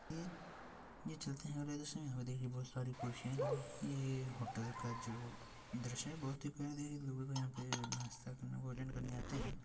ये ये चलते हैयहाँ पर बहुत सारी कुर्सियाँ लगी हैं ये होटल का जो दृश्य है बहुत ही प्यारे हैलोगों को यहाँ पे नास्ता करने भोजन करने आते हैं।